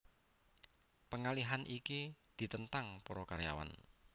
Pengalihan iki ditentang para karyawan